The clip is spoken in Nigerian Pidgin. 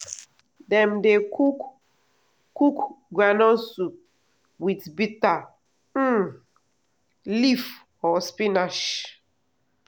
dem dey cook cook groundnut soup with bitter um leaf or spinach